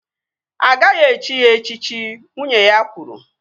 Agaghị echi ya echichi! Nwunye ya kwuru